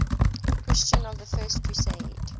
christians of the first crusade